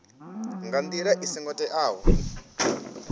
nga ndila i songo teaho